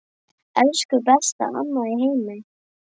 Elsku besta amma í heimi.